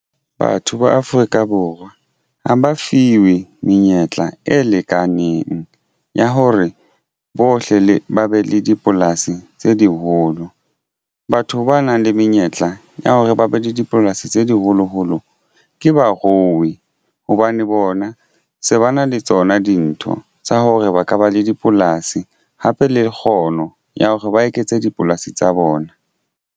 Batho ba Afrika Borwa ha ba fiwe menyetla e lekaneng ya hore bohle le ba be le dipolasi tse diholo batho ba nang le menyetla ya hore ba be le dipolasi tse di holoholo ke barui hobane bona se ba na le tsona dintho tsa hore ba ka ba le dipolasi hape le kgono ya hore ba eketse dipolasi tsa bona.